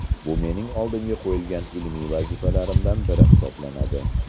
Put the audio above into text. Bu mening oldimga qo‘ygan ilmiy vazifalarimdan biri hisoblanadi.